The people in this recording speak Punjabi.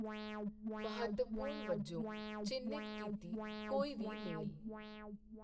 ਮਹੱਤਵਪੂਰਨ ਵਜੋਂ ਚਿੰਨ੍ਹਿਤ ਕੀਤੀ ਕੋਈ ਵੀ ਮੇਲ।